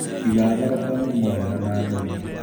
Iga thoroko nyũmu wega na theru